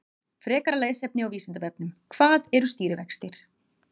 Frekara lesefni á Vísindavefnum: Hvað eru stýrivextir?